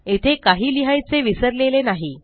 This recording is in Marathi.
येथे काही लिहायचे विसरलेले नाही